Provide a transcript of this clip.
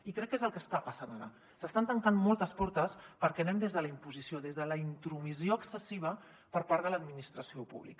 i crec que és el que està passant ara s’estan tancant moltes portes perquè hi anem des de la imposició des de la intromissió excessiva per part de l’administració pública